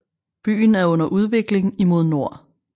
Byen er under udvikling imod nord